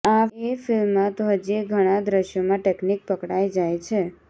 એ ફિલ્મમાં તો હજીય ઘણાં દ્રશ્યોમાં ટેકનિક પકડાઈ જાય છે